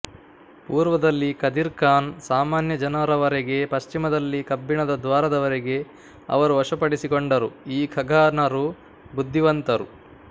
ಪೂರ್ವದಲ್ಲಿ ಕದಿರ್ಖಾನ್ ಸಾಮಾನ್ಯ ಜನರವರೆಗೆ ಪಶ್ಚಿಮದಲ್ಲಿ ಕಬ್ಬಿಣದ ದ್ವಾರದವರೆಗೆ ಅವರು ವಶಪಡಿಸಿಕೊಂಡರು ಈ ಖಗಾನರು ಬುದ್ಧಿವಂತರು